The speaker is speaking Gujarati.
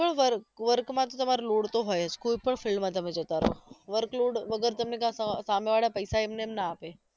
હોય work work માં તમારે load તો હોય છે જ કોઈ પણ field માં જતા રહો workload વગર તો સામે વાળા પૈસા એમ નેમ ના આપે